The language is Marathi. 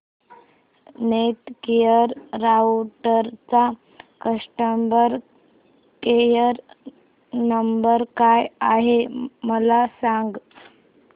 नेटगिअर राउटरचा कस्टमर केयर नंबर काय आहे मला सांग